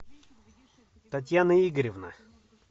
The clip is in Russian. татьяна игоревна